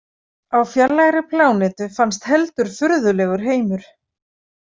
Á fjarlægri plánetu fannst heldur furðulegur heimur.